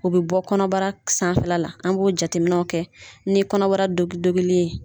U bɛ bɔ kɔnɔbara sanfɛla la an b'o jateminɛw kɛ ni kɔnɔbara dogi dogili ye.